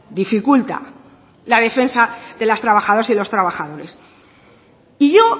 dificulta la defensa de las trabajadoras y los trabajadores y yo